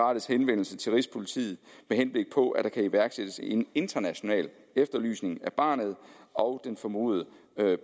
rettes henvendelse til rigspolitiet med henblik på at der kan iværksættes en international efterlysning af barnet og den formodede